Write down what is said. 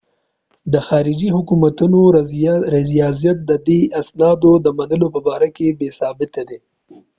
د خارجي حکومتونو رضایت ددې اسنادو د منلو په باره کې بې ثباته دی